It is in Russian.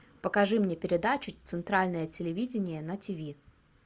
покажи мне передачу центральное телевидение на тв